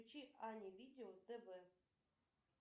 включи ани видео тв